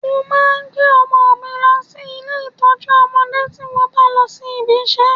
Mo máa ń gbé ọmọ mi lọ sí ilé ìtọ́jú ọmọdé tí mo bá ń lọ ibi iṣẹ́